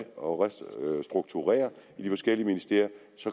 og restrukturerer i de forskellige ministerier